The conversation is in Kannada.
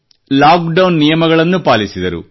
ಲಾಕ್ ಡೌನ್ ನಿಯಮಗಳನ್ನು ಪಾಲಿಸಿದರು